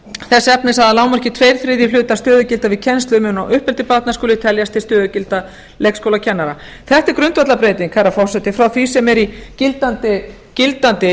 þess efnis að að lágmarki tveggja þriðju hlutar stöðugilda við kennslu umönnun og uppeldi barna skuli teljast til stöðugilda leikskólakennara þetta er grundvallarbreyting herra forseti frá því sem er í gildandi